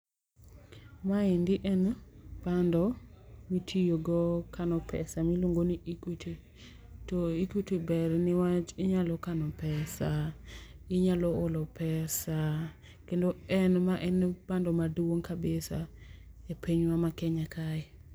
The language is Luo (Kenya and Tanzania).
Ma endi en bando mi itiyo go kano pesa ma iluongo ni Equity. To Equity ber ni wach inyalo kano pesa inyalo olo pesa kendo en ma en bando maduong kabisa e piny wa ma Kenya kae.